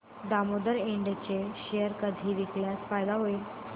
दामोदर इंड चे शेअर कधी विकल्यास फायदा होईल